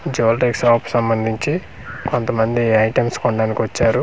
Jewellery shop సంబంధించి కొంత మంది ఐటమ్స్ కొనడానికి వచ్చారు.